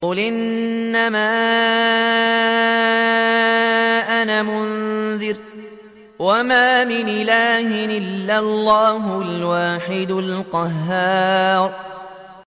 قُلْ إِنَّمَا أَنَا مُنذِرٌ ۖ وَمَا مِنْ إِلَٰهٍ إِلَّا اللَّهُ الْوَاحِدُ الْقَهَّارُ